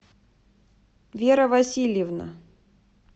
вера васильевна